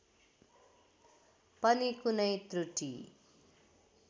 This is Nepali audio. पनि कुनै त्रुटी